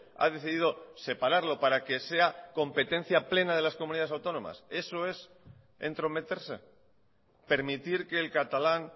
ha decidido separarlo para que sea competencia plena de las comunidades autónomas eso es entrometerse permitir que el catalán